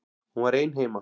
Hún var ein heima.